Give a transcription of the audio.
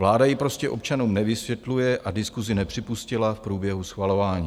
Vláda ji prostě občanům nevysvětluje a diskusi nepřipustila v průběhu schvalování.